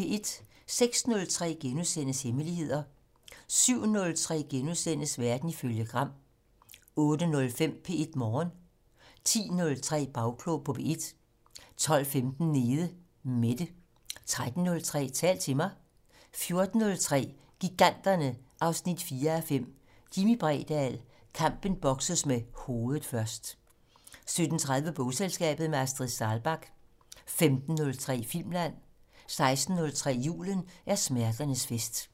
06:03: Hemmeligheder * 07:03: Verden ifølge Gram * 08:05: P1 Morgen 10:03: Bagklog på P1 12:15: Nede Mette 13:03: Tal til mig 14:03: Giganterne 4:5 - Jimmi Bredahl: Kampen bokses med hovedet først 14:30: Bogselskabet - med Astrid Saalbach 15:03: Filmland 16:03: Julen er smerternes fest